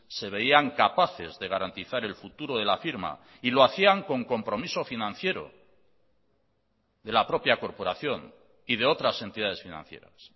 se veían capaces de garantizar el futuro de la firma y lo hacían con compromiso financiero de la propia corporación y de otras entidades financieras